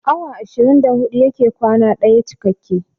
Awa ashirin da huɗu yake kwana ɗaya cikakke